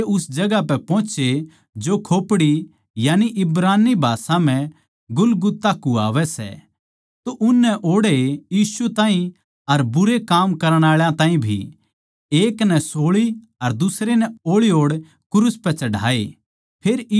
जद वे उस जगहां पै पोहचे जो खोपड़ी यानी इब्रानी भाषा म्ह गुलगुता कुह्वावै सै तो उननै ओड़ै यीशु ताहीं अर भुण्डे काम करण आळे ताहीं भी एक नै सोळी अर दुसरे नै ओळी ओड़ क्रूस पै चढ़ाए